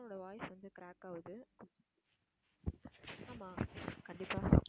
so உன்னோட voice வந்து, crack ஆகுது ஆமா கண்டிப்பா